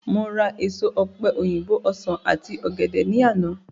Mo ra èso ọ̀pe òyìnbó, ọsán àti ògèdè ní àná